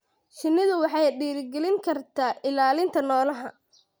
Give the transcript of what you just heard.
Shinnidu waxay dhiirigelin kartaa ilaalinta noolaha.